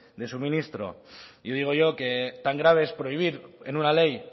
de suministro y digo yo que tan grave es prohibir en una ley